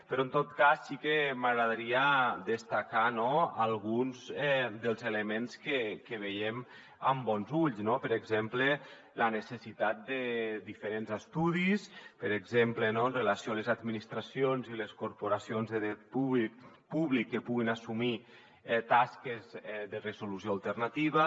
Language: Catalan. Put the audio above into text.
però en tot cas sí que m’agradaria destacar alguns dels elements que veiem amb bons ulls no per exemple la necessitat de diferents estudis per exemple amb relació a les administracions i les corporacions de dret públic que puguin assumir tasques de resolució alternativa